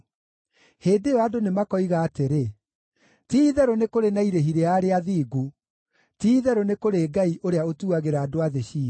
Hĩndĩ ĩyo andũ nĩmakoiga atĩrĩ, “Ti-itherũ nĩ kũrĩ na irĩhi rĩa arĩa athingu; ti-itherũ nĩ kũrĩ Ngai ũrĩa ũtuagĩra andũ a thĩ ciira.”